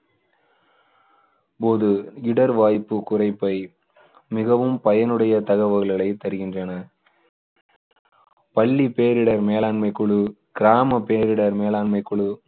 போது இடர்வாய்ப்பு குறைப்பை மிகவும் பயனுடைய தகவல்களை தருகின்றன பள்ளி பேரிடர் மேலாண்மை குழு, கிராம பேரிடர் மேலாண்மை குழு,